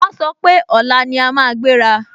Wọ́n sọ pé, ọ̀la ni a máa gbéra